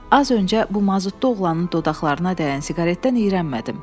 Az öncə bu mazutlu oğlanın dodaqlarına dəyən siqaretdən iyrənmədim.